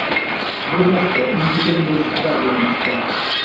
Bu haqda Independent xabar bermoqda .